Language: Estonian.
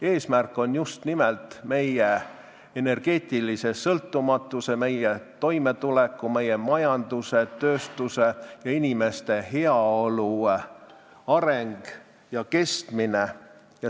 Eesmärk on just nimelt meie energeetilise sõltumatuse, meie toimetuleku, meie majanduse, tööstuse ja inimeste heaolu areng ja kestmine.